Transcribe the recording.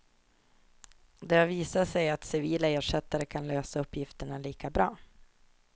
Det har visat sig att civila ersättare kan lösa uppgifterna lika bra.